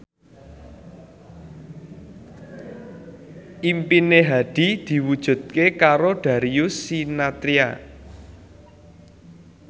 impine Hadi diwujudke karo Darius Sinathrya